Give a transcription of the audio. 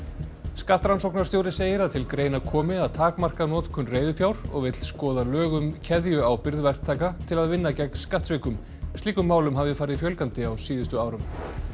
skattrannsóknarstjóri segir að til greina komi að takmarka notkun reiðufjár og vill skoða lög um keðjuábyrgð verktaka til að vinna gegn skattsvikum slíkum málum hafi farið fjölgandi á síðustu árum